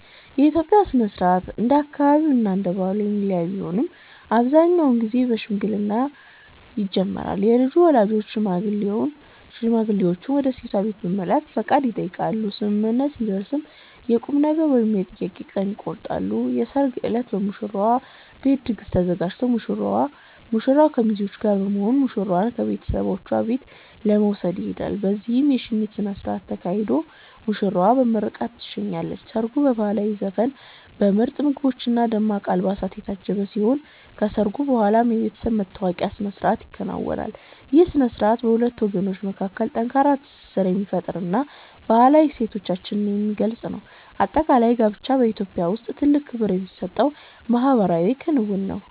የኢትዮጵያ የጋብቻ ሥነ ሥርዓት እንደየአካባቢውና እንደየባህሉ የሚለያይ ቢሆንም፣ አብዛኛውን ጊዜ በሽምግልና ይጀምራል። የልጁ ወላጆች ሽማግሌዎችን ወደ ሴቷ ቤት በመላክ ፈቃድ ይጠይቃሉ፤ ስምምነት ሲደረስም የቁምነገር ወይም የጥያቄ ቀን ይቆረጣል። የሰርግ ዕለት በሙሽራው ቤት ድግስ ተዘጋጅቶ ሙሽራው ከሚዜዎቹ ጋር በመሆን ሙሽራዋን ከቤተሰቦቿ ቤት ለመውሰድ ይሄዳል። በዚያም የሽኝት ሥነ ሥርዓት ተካሂዶ ሙሽራዋ በምርቃት ትሸኛለች። ሰርጉ በባህላዊ ዘፈኖች፣ በምርጥ ምግቦችና በደማቅ አልባሳት የታጀበ ሲሆን፣ ከሰርጉ በኋላም የቤተሰብ መተዋወቂያ ሥነ ሥርዓቶች ይከናወናሉ። ይህ ሥነ ሥርዓት በሁለት ወገኖች መካከል ጠንካራ ትስስር የሚፈጥርና ባህላዊ እሴቶቻችንን የሚገልጽ ነው። በአጠቃላይ፣ ጋብቻ በኢትዮጵያ ውስጥ ትልቅ ክብር የሚሰጠው ማኅበራዊ ክንውን ነው።